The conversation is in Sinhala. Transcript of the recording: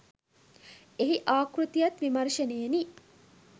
එහි ආකෘතියත් විමර්ශනයෙනි.